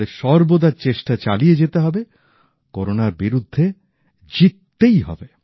আমাদের সর্বদা চেষ্টা চালিয়ে যেতে হবে করোনার বিরুদ্ধে জিততেই হবে